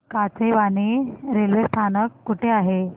Kachewani railway स्थानक कुठे आहे